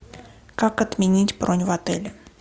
как отменить бронь в отеле